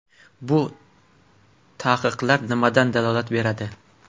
Bu taqiqlar nimadan dalolat beradi?